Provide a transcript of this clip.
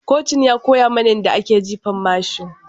Kocin ya koya mana yadda ake jifa mashin.